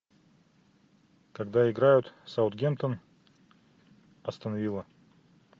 когда играют саутгемптон астон вилла